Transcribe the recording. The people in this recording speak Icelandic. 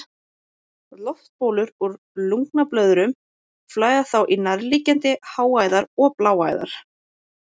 Loftbólur úr lungnablöðrum flæða þá í nærliggjandi háræðar og bláæðar.